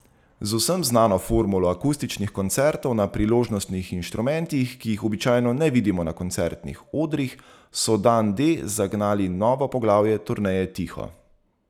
Z vsem znano formulo akustičnih koncertov na priložnostnih inštrumentih, ki jih običajno ne vidimo na koncertnih odrih, so Dan D zagnali novo poglavje turneje Tiho.